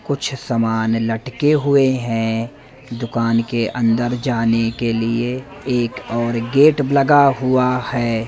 कुछ समान लटके हुए हैं। दुकान के अंदर जाने के लिए एक और गेट लगा हुआ है।